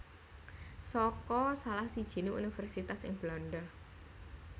saka salah sijiné universitas ing Belanda